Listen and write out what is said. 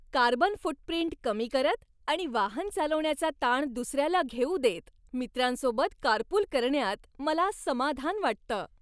Carbon footprint कमी करत आणि वाहन चालवण्याचा ताण दुसऱ्याला घेऊ देत, मित्रांसोबत कारपूल करण्यात मला समाधान वाटतं.